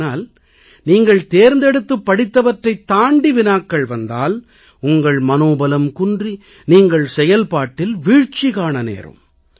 ஆனால் நீங்கள் தேர்ந்தெடுத்துப் படித்தவற்றைத் தாண்டி வினாக்கள் வந்தால் உங்கள் மனோபலம் குன்றி நீங்கள் செயல்பாட்டில் வீழ்ச்சி காண நேரும்